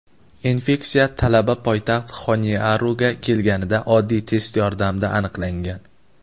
infeksiya talaba poytaxt Xoniaruga kelganida oddiy test yordamida aniqlangan.